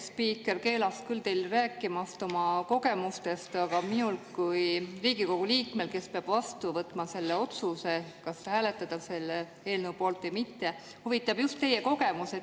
Asespiiker keelas teil küll rääkimast oma kogemustest, aga mind kui Riigikogu liiget, kes peab vastu võtma otsuse, kas hääletada selle eelnõu poolt või mitte, huvitab just teie kogemus.